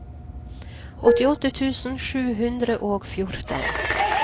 åttiåtte tusen sju hundre og fjorten